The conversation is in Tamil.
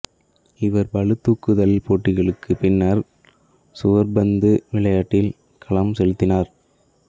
இவர் பளு தூக்குதல் போட்டிக்குப் பின்னர் சுவர்ப்பந்து விளையாட்டில் கவனம் செலுத்தினார்